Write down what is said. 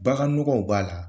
Bagannɔgɔw b'a la